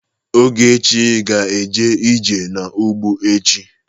Ogechi ga-eje ije n'ugbo echi.